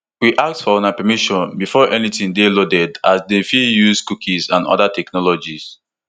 we ask for una permission before anytin dey loaded as dem fit dey use cookies and oda technologies